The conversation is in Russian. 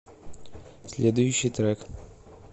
следующий трек